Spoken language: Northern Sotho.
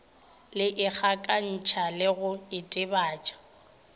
le ikgakantšha le go itebatša